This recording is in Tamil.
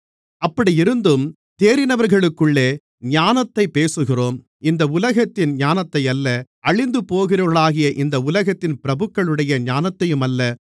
அப்படியிருந்தும் தேறினவர்களுக்குள்ளே ஞானத்தைப் பேசுகிறோம் இந்த உலகத்தின் ஞானத்தையல்ல அழிந்து போகிறவர்களாகிய இந்த உலகத்தின் பிரபுக்களுடைய ஞானத்தையுமல்ல